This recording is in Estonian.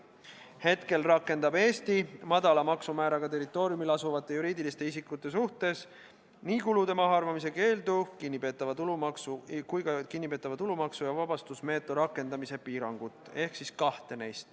Hetkel rakendab Eesti neist kahte: madala maksumääraga territooriumil asuvate juriidiliste isikute suhtes nii kulude mahaarvamise keeldu kui ka kinnipeetava tulumaksu ja vabastusmeetodi rakendamise piirangut.